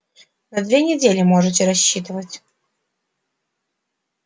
на две недели можете рассчитывать